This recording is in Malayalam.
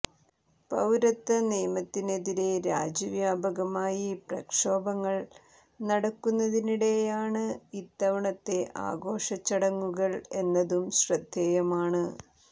പൌരത്വ നിയമത്തിനെതിരെ രാജ്യ വ്യാപകമായി പ്രക്ഷോഭങ്ങൾ നടക്കുന്നതിനിടെയാണ് ഇത്തവണത്തെ ആഘോഷ ചടങ്ങുകൾ എന്നതും ശ്രദ്ധേയമാണ്